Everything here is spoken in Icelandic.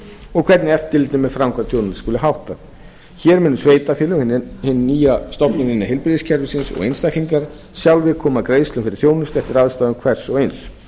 og hver eftirliti með framkvæmd þjónustunnar skuli háttað hér munu sveitarfélög hin nýja stofnun innan heilbrigðiskerfisins og einstaklinga sjálfir koma greiðslum fyrir þjónustu eftir aðstæðum hvers og eins